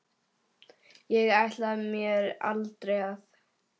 Ég ætlaði mér aldrei að.